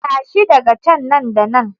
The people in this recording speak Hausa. Tashi daga can nan da nan!